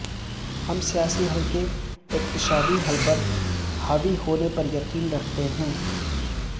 ہم سیاسی حل کے اقتصادی حل پر حاوی ہونے پر یقین رکھتے ہیں